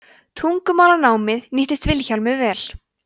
tungumálanámið nýttist vilhjálmi vel